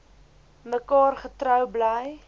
mekaar getrou bly